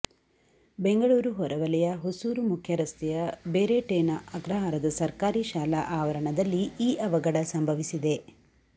ಬೆಂಗಳೂರು ಹೊರವಲಯ ಹೊಸೂರು ಮುಖ್ಯರಸ್ತೆಯ ಬೇರೆಟೇನ ಅಗ್ರಹಾರದ ಸರ್ಕಾರಿ ಶಾಲಾ ಆವರಣದಲ್ಲಿ ಈ ಅವಘಡ ಸಂಭವಿಸಿದೆ